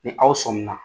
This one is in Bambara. Ni aw sɔmi na